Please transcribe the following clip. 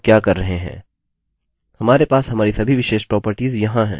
हमारे पास हमारी सभी विशेष प्रोपर्टिज यहाँ हैं